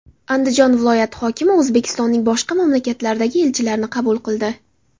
Andijon viloyati hokimi O‘zbekistonning boshqa mamlakatlardagi elchilarini qabul qildi.